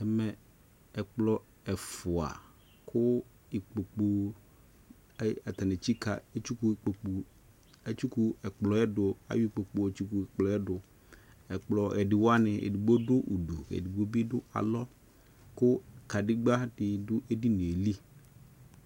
Ɛmɛ ɛkplɔ ɛfua ko ikpokpu ai atane etsika etsiku ukpokpu, etsiku ɛkplɔɛ do ka yɔ ukpokpu yɔ tsuks ɛkplɔɛ doƐkplɔ ɛde wane edigbo do udu ke edigbo be do alɔ ko kadedba de do edinie li